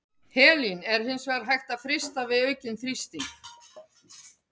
Helín er hins vegar hægt að frysta við aukinn þrýsting.